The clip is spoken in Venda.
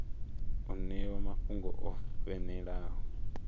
u ṋewa mafhungo o fhelelaho